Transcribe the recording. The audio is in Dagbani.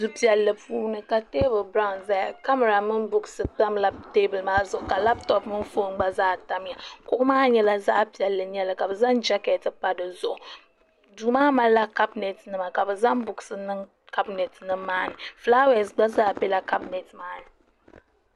du piɛlli puuni ka teebuli biraawn ʒɛya kamɛra mini buuks tamla teebuli maa zuɣu ka labtop mini foon gba zaa tamya kuɣu maa nyɛla zaɣ piɛlli n nyɛli ka bi zaŋ jɛkɛt pa dizuɣu duu maa malila kabinɛt nima ka bi zaŋ buuks niŋ kabinɛt nim maa ni fulaawaasi gba zaa biɛla kabinɛt nim maa ni